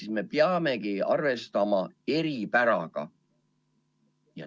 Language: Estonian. Ehk me peamegi arvestama eripäraga.